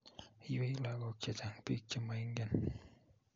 Iywei lagok che chang' biik che maingen